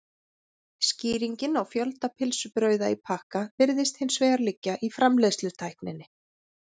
skýringin á fjölda pylsubrauða í pakka virðist hins vegar liggja í framleiðslutækninni